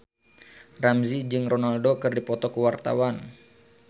Ramzy jeung Ronaldo keur dipoto ku wartawan